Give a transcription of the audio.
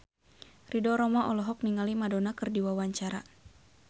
Ridho Roma olohok ningali Madonna keur diwawancara